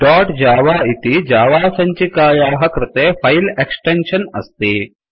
dot Java इति Java सञ्चिकायाः कृते फैल एक्स्टेन्शन अस्ति